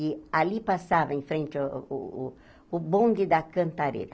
E ali passava em frente a o o o bonde da cantareira.